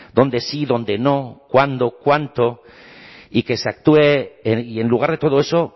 donde sí donde no cuándo cuánto y que se actúe y en lugar de todo eso